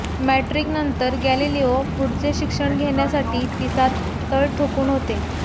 मॅट्रिकनंतर Galileo पुढचे शिक्षण घेण्यासाठी पिसात तळ ठोकून होते